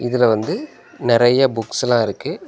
இதுல வந்து நெறைய புக்ஸ்செல்லா இருக்கு.